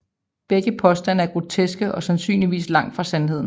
Begge påstande er groteske og sandsynligvis langt fra sandheden